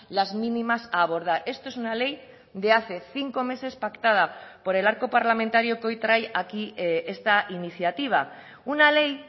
las mínimas a abordar esto es una ley de hace cinco meses pactada por el arco parlamentario que hoy trae aquí esta iniciativa una ley